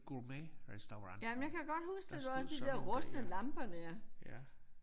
Gourmetrestaurant der stod sådan der ja